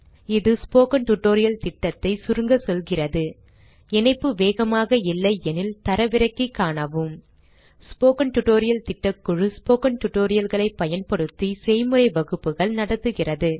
இது spoken tutorial திட்டத்தை சுருங்க சொல்கிறது இணைப்பு வேகமாக இல்லையெனில் தரவிறக்கி காணவும் ஸ்போக்கன் டியூட்டோரியல் திட்டக்குழு ஸ்போக்கன் tutorial களைப் பயன்படுத்தி செய்முறை வகுப்புகள் நடத்துகிறது